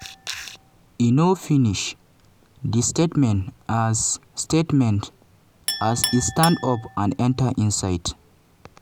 e no finish di statement as statement as e stand up and enta inside.